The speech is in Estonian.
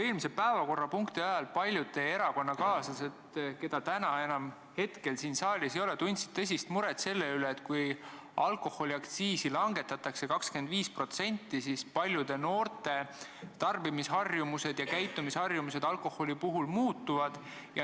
Eelmise päevakorrapunkti arutamise ajal paljud teie erakonnakaaslased, keda hetkel enam saalis ei ole, tundsid tõsist muret selle üle, et kui alkoholiaktsiisi langetatakse 25%, siis paljude noorte tarbimisharjumused alkoholi puhul muutuvad.